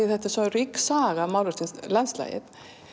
þetta er svo rík saga málverksins af landslagi